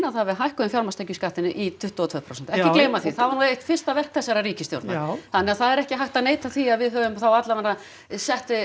það að við hækkuðum fjármagnstekjuskattinn í tuttugu og tvö prósent ekki gleyma því það var nú eitt fyrsta verk þessarar ríkisstjórnar þannig að það er ekki hægt að neita því að við höfum þá alla vega sett